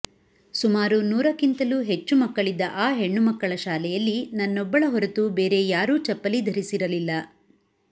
ಸುಮಾರು ನೂರಕ್ಕಿಂತಲೂ ಹೆಚ್ಚು ಮಕ್ಕಳಿದ್ದ ಆ ಹೆಣ್ಣುಮಕ್ಕಳ ಶಾಲೆಯಲ್ಲಿ ನನ್ನೊಬ್ಬಳ ಹೊರತು ಬೇರೆ ಯಾರೂ ಚಪ್ಪಲಿ ಧರಿಸಿರಲಿಲ್ಲ